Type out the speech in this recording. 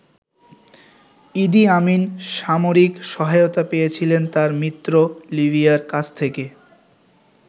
ইদি Amin সামরিক সহায়তা পেয়েছিলেন তার মিত্র লিবিয়ার কাছ থেকে।